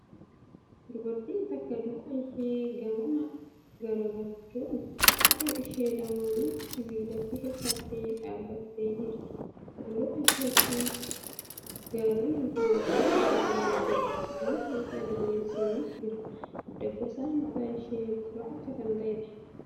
Dubartiin takka duuba ishee gamana garagalchuun, harka ishee lamaanin sibiilatti hirkattee dhaabbattee jirti. Fuuldura isheetti gaarrenii fi mukkeen garagaraa ni jiru. Samii keessa duumessi ni jira. Dabbasaan mataa ishee gurraacha kan ta'eedha.